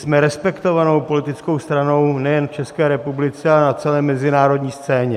Jsme respektovanou politickou stranou nejen v České republice, ale na celé mezinárodní scéně.